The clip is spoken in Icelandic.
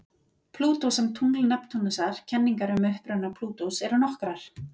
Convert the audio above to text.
Plútó sem tungl Neptúnusar Kenningar um uppruna Plútós eru nokkrar.